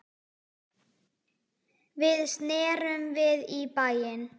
Við snerum við í bæinn.